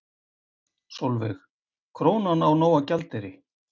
Sólveig: Krónan á nóg af gjaldeyri?